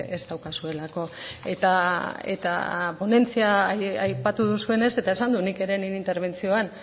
ez daukazuelako eta ponentzia aipatu duzuenez eta esan dut nik ere nire interbentzioan